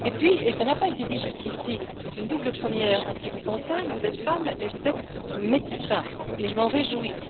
Et puis, et cela n'a pas été dit jusqu'ici, c'est une double première en ce qui vous concerne vous êtes femme mais vous êtes médecin, et je m'en réjouis.